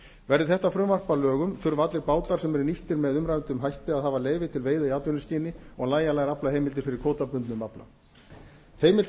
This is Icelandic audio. verði þetta frumvarp að lögum þurfa allir bátar sem eru nýttir með uimræddum hætti að hafa leyfi til veiða í atvinnuskyni og nægjanlegar aflaheimildir fyrir kvótabundnum afla heimilt